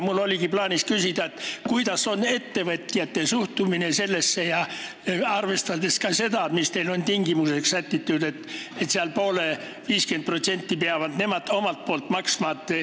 Mul oli nimelt plaanis veel küsida, milline on ettevõtjate suhtumine sellesse – arvestades ka seda, mis teil on tingimuseks sätitud, et nemad peavad poole kuludest ehk 50% ise maksma.